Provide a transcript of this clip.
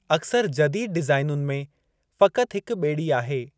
अक्सरि जदीद डीज़ाइनुनि में फ़क़ति हिक ॿेड़ी आहे।